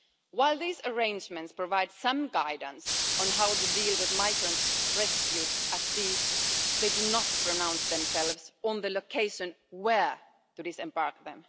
While these arrangements provide some guidance on how to deal with migrants rescued at sea, they do not pronounce on the location where there is embarkment.